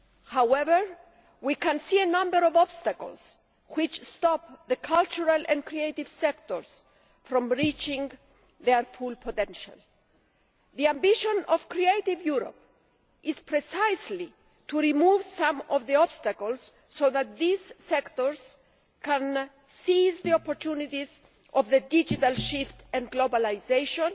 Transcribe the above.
However, we can see a number of obstacles which stop the cultural and creative sectors from reaching their full potential. The ambition of Creative Europe is precisely to remove some of the obstacles, so that these sectors can seize the opportunities of the digital shift and globalisation